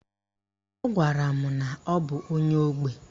Ọ gwara m na ọ bụ onye ógbè.